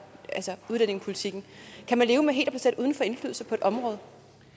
altså udlændingepolitikken kan man leve med helt at blive sat uden for indflydelse på et område